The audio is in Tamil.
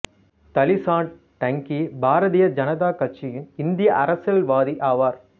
தலி சாண்ட் டங்கி பாரதிய ஜனதா கட்சியின் இந்திய அரசியல்வாதி ஆவார்